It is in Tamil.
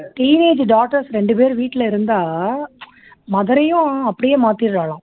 teenage daughters ரெண்டு பேரு வீட்டுல இருந்தா அவரையும் அப்படியே மாத்திடுறாலாம்